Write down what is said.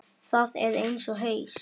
Það er eins og haus